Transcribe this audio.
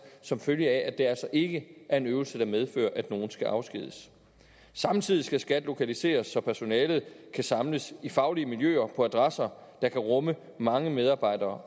som følge af at det altså ikke er en øvelse der medfører at nogen skal afskediges samtidig skal skat lokaliseres så personalet kan samles i faglige miljøer på adresser der kan rumme mange medarbejdere